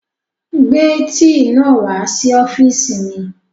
Gbé tíì náà wá sí ọ́fìsì mi